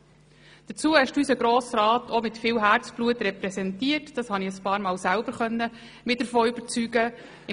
Zudem hast du unseren Grossen Rat im ganzen Kanton, aber auch über die Kantonsgrenzen hinaus mit viel Herzblut repräsentiert.